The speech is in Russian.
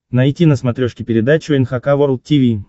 найти на смотрешке передачу эн эйч кей волд ти ви